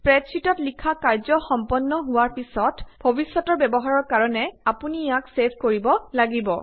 স্প্ৰেডশ্বিটত লিখা কাৰ্য্য সম্পন্ন হোৱাৰ পিছত ভবিষ্যত ব্যৱহাৰৰ অপুনি ইয়াক ছেভ কৰিব লাগিব